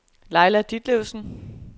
Laila Ditlevsen